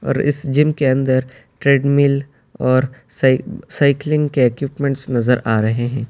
اور اس جِم کے اندر ٹریڈمل اور سائی سائیکلنگ کے ایکوئپمنٹس نظر آ رہے ہیں۔